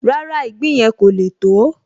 Rárá, ìgbín yẹn kò le tó